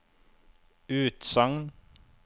utsagn